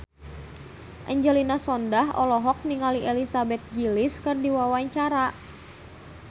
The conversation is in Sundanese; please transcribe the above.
Angelina Sondakh olohok ningali Elizabeth Gillies keur diwawancara